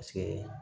Paseke